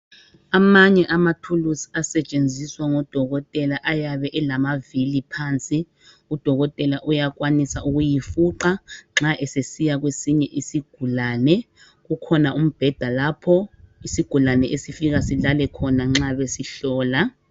Amanye amathuluzi asetshenziswa ngodokotela ayabe elama vili phansi udokotela uyakwanisa ukuyifuqa nxa esesiya kwesinye isigulane kukhona umbheda lapho isigulane esifika silale khona nxa besihlola.